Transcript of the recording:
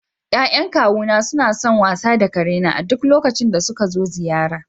Ya'yan kawuna suna son wasa da karena a duk lokacin da suka zo ziyara.